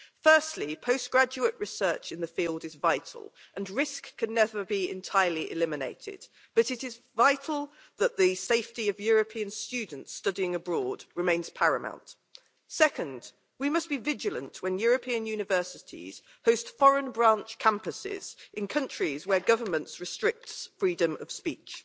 Firstly, postgraduate research in the field is vital and risk can never be entirely eliminated, but it is vital that the safety of European students studying abroad remains paramount. Second, we must be vigilant when European universities host foreign branch campuses in countries where governments restrict freedom of speech.